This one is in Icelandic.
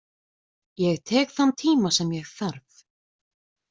Ég tek þann tíma sem ég þarf.